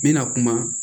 N bɛna kuma